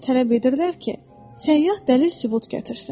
Sadəcə tələb edirlər ki, səyyah dəlil-sübut gətirsin.